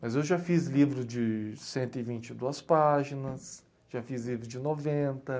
Mas eu já fiz livro de vento e vinte e duas páginas, já fiz livro de noventa